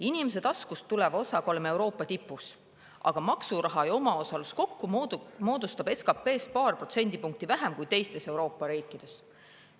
Inimese taskust tuleva osaga oleme Euroopa tipus, aga maksuraha ja omaosalus kokku moodustab SKP-st paar protsendipunkti vähem kui teistes Euroopa riikides.